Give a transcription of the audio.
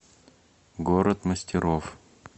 город мастеров